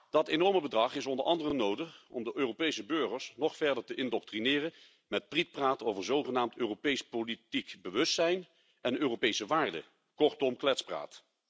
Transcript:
Dat enorme bedrag is onder andere nodig om de Europese burgers nog verder te indoctrineren met prietpraat over zogenaamd Europees politiek bewustzijn en Europese waarden, kortom kletspraat.